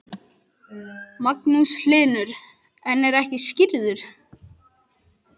Magnús Hlynur: En er ekki skírður?